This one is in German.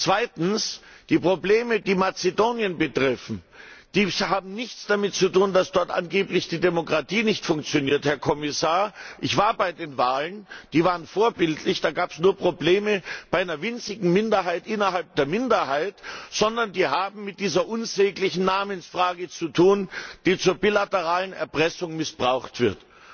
Zweitens Die Probleme, die Mazedonien betreffen, haben nichts damit zu tun, dass dort angeblich die Demokratie nicht funktioniert, Herr Kommissar ich war bei den Wahlen, sie waren vorbildlich, Probleme gab es da nur bei einer winzigen Minderheit innerhalb der Minderheit sondern sie haben mit dieser unsäglichen Namensfrage zu tun, die zur bilateralen Erpressung missbraucht wird.